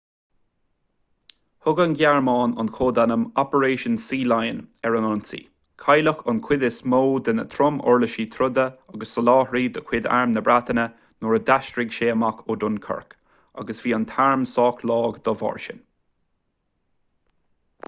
thug an ghearmáin an códainm operation sealion ar an ionsaí cailleadh an chuid is mó de na trom-uirlisí troda agus soláthairtí de chuid arm na breataine nuair a d'aistrigh sé amach ó dunkirk agus bhí an t-arm sách lag dá bharr sin